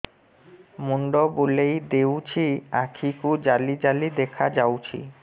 ମୁଣ୍ଡ ବୁଲେଇ ଦେଉଛି ଆଖି କୁ ଜାଲି ଜାଲି ଦେଖା ଯାଉଛି